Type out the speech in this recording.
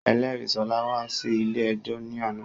Ẹlẹ́rìí Ṣọlá wá sí ilé ẹjọ́ ní àná